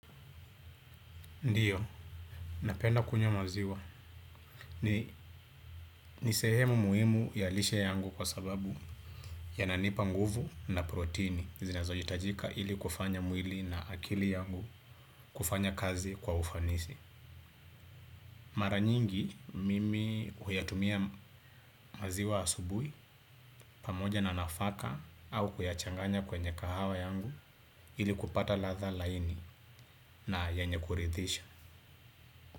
Ndiyo, napenda kunywa maziwa. Ni nisehemu muhimu ya lishe yangu kwa sababu yananipa nguvu na proteini zinazo hitajika ili kufanya mwili na akili yangu kufanya kazi kwa ufanisi. Mara nyingi mimi huyatumia maziwa asubui pamoja na nafaka au kuyachanganya kwenye kahawa yangu ili kupata ladha laini na yenye kuridhisha.